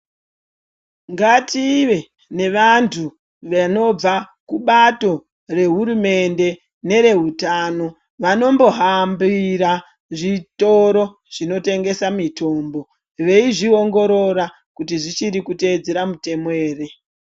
Ngative nevantu vanobva kubato rehurumende nerehutano vanombohambira zvitoro zvinotengesa mitombo veizviongorora kuti zvichiri kuteedzera mitemo ere.